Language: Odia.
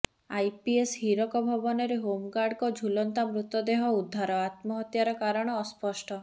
ଆଇପିଏସ ହୀରକ ଭବନରେ ହୋମଗାର୍ଡଙ୍କ ଝୁଲନ୍ତା ମୃତଦେହ ଉଦ୍ଧାର ଆତ୍ମହତ୍ୟାର କାରଣ ଅସ୍ପଷ୍ଟ